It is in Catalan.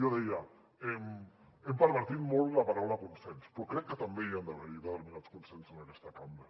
jo deia hem pervertit molt la paraula consens però crec que també hi han d’haver determinats consensos en aquesta cambra